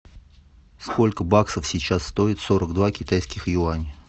сколько баксов сейчас стоит сорок два китайских юаня